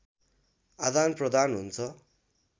आदानप्रदान हुन्छ